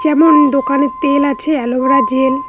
যেমন দোকানে তেল আছে এলোভেরা জেল ।